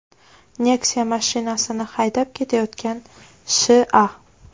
Nexia mashinasini haydab ketayotgan Sh.A.